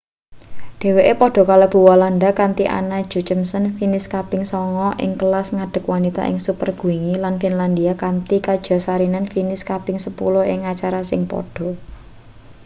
dheweke padha kalebu walanda kanthi anna jochemsen finis kaping sanga ing kelas ngadeg wanita ing super-gwingi lan finlandia kanthi katja saarinen finis kaping sepuluh ing acara sing padha